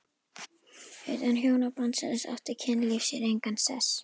Utan hjónabandsins átti kynlíf sér engan sess.